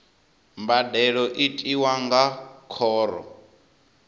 mbadelo i tiwa nga khoro